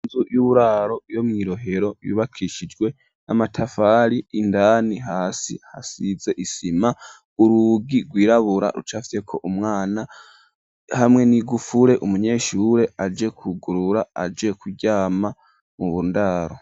inzu y'uburaro yo mwi Rohero yubakishijwe n'amatafari indani hasi hasize isima, urugi gwirabura rucafyeko umwana hamwe n'ingufuri umunyeshure aje kugurura aje kuryama mu ndaro.